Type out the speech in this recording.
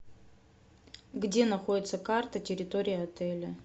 где находится карта территории отеля